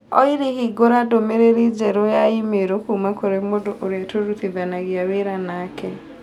Olly hingũra ndũmĩrĩri njerũ ya i-mīrū kuuma kũrĩ mũndũ ũrĩa tũrutithanagia wĩra nake